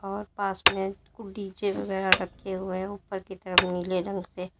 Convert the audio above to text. और पास में वो डी जे वगैरा रखे हुए हैं ऊपर की तरफ नीले रंग से।